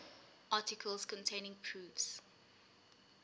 articles containing proofs